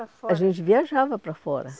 para fora. A gente viajava para fora.